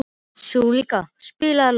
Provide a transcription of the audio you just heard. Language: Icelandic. Skúlína, spilaðu lag.